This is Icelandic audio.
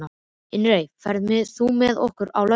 Irene, ferð þú með okkur á laugardaginn?